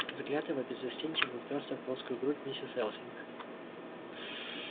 взгляд его беззастенчиво упёрся в плоскую грудь миссис элсинг